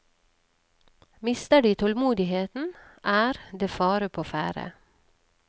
Mister de tålmodigheten, er det fare på ferde.